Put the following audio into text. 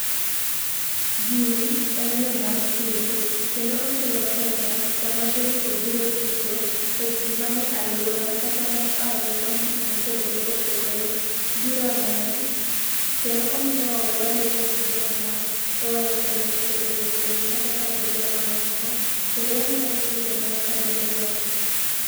Gini en yo mar tugo kendo okelo pesa saa ma jogi obiro tugo to ji mane aluora kata mohae counties ma opogore opogore biro neno. Kendo omiyo waloso gi jokma oha kuonde ma opogore opogore kata kabinde mamoko, kendo wang'eyo chike mag kabindego.